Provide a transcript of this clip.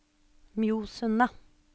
Mjosundet